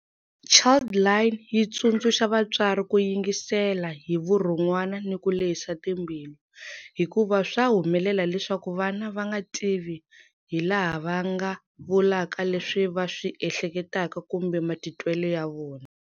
Childline yi tsundzuxa vatswari ku yingisela hi vurhon'wana ni ku lehisa timbilu, hikuva swa humelela leswaku vana va nga tivi hilaha va nga vulaka leswi va swi ehleketaka kumbe matitwele ya vona.